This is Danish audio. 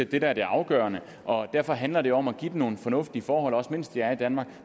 det der er det afgørende og derfor handler det om at give dem nogle fornuftige forhold mens de er i danmark